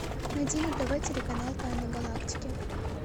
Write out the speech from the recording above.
найди на тв телеканал тайны галактики